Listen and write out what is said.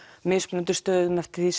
mismunandi stöðum eftir því